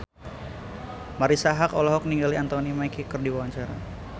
Marisa Haque olohok ningali Anthony Mackie keur diwawancara